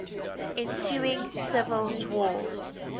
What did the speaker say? ensuing civil war